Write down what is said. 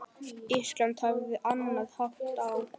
Ísland hafði annan hátt á.